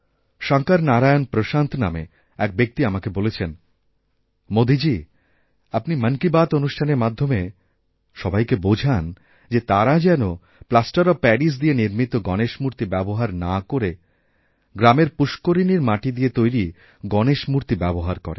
শঙ্কর নারায়ণ প্রশান্ত নামে এক ব্যক্তি আমাকে বলেছেন মোদীজি আপনিমন কি বাত্ অনুষ্ঠানের মাধ্যমে সবাইকে বোঝান যে তারা যেন প্লাষ্টার অফ্ প্যারিসদিয়ে নির্মিত গণেশ মূর্তি ব্যবহার না করে গ্রামের পুষ্করিণীর মাটি দিয়ে তৈরি গণেশমূর্তি ব্যবহার করে